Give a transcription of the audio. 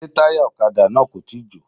Ṣé táyà ọ̀kadà náà kò tíì jò.